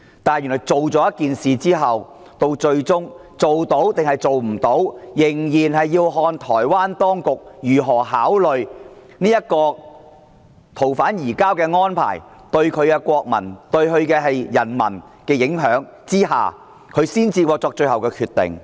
但是，原來通過《條例草案》後，最終能否彰顯公義，仍然要視乎台灣當局如何考慮這個逃犯移交安排，對台灣人民的影響後，由台灣當局作最後決定。